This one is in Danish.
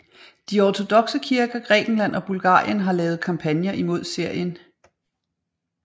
De ortodokse kirker Grækenland og Bulgarien har lavet kampagner imod serien